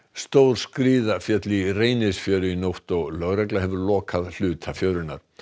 stór skriða féll í Reynisfjöru í nótt og lögregla hefur lokað hluta fjörunnar